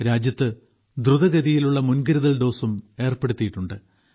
രാജ്യത്ത് ദ്രുതഗതിയിലുള്ള മുൻകരുതൽ ഡോസും ഏർപ്പെടുത്തിയിട്ടുണ്ട്